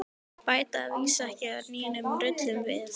Bæta að vísu ekki nýjum rullum við.